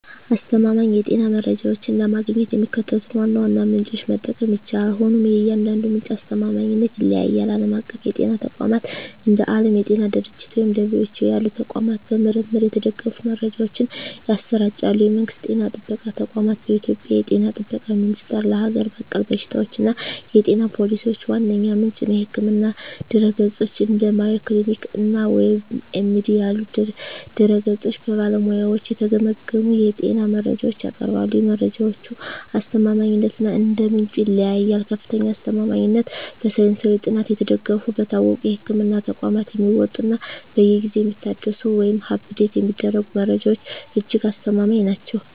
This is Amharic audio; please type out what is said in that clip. አስተማማኝ የጤና መረጃዎችን ለማግኘት የሚከተሉትን ዋና ዋና ምንጮች መጠቀም ይቻላል፤ ሆኖም የእያንዳንዱ ምንጭ አስተማማኝነት ይለያያል። ዓለም አቀፍ የጤና ተቋማት፦ እንደ ዓለም የጤና ድርጅት (WHO) ያሉ ተቋማት በምርምር የተደገፉ መረጃዎችን ያሰራጫሉ። የመንግስት ጤና ጥበቃ ተቋማት፦ በኢትዮጵያ የ ጤና ጥበቃ ሚኒስቴር ለሀገር በቀል በሽታዎችና የጤና ፖሊሲዎች ዋነኛ ምንጭ ነው። የሕክምና ድረ-ገጾች፦ እንደ Mayo Clinic እና WebMD ያሉ ድረ-ገጾች በባለሙያዎች የተገመገሙ የጤና መረጃዎችን ያቀርባሉ። የመረጃዎቹ አስተማማኝነት እንደ ምንጩ ይለያያል፦ ከፍተኛ አስተማማኝነት፦ በሳይንሳዊ ጥናት የተደገፉ፣ በታወቁ የሕክምና ተቋማት የሚወጡ እና በየጊዜው የሚታደሱ (Update የሚደረጉ) መረጃዎች እጅግ አስተማማኝ ናቸው።